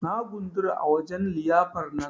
Na gundura a wajen liyyafar nan.